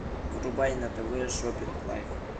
врубай на тв шоппинг лайф